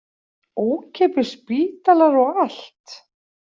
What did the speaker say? Ókeypis spítalar og allt.